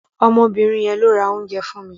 Obìnrin yẹn lo ra oúnjẹ fún mi.